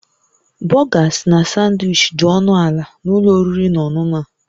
Burgers na Sanwichi dị ọnụ ala na ụlọ oriri na ọṅụṅụ a